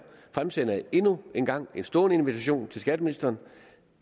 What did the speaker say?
fremsætter jeg endnu en gang en stående invitation til skatteministeren